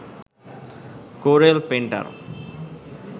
Corel painter